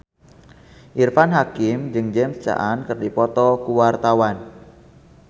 Irfan Hakim jeung James Caan keur dipoto ku wartawan